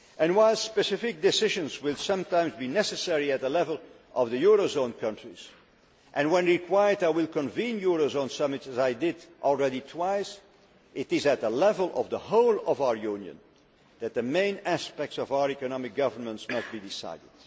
While specific decisions will sometimes be necessary at the level of the eurozone countries and, when required, I will convene a eurozone summit as I have done twice already it is at the level of the whole of our Union that the main aspects of our economic governance must be decided.